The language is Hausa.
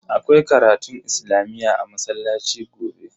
Akwai karatun islamiyyah a masallaci gobe.